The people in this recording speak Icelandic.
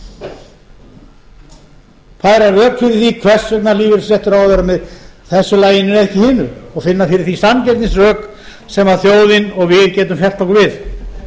er færa rök fyrir því hvers vegna lífeyrisréttur á að vera með þessu laginu en ekki hinu og finna fyrir því sanngirnisrök sem þjóðin og við getum fellt okkur við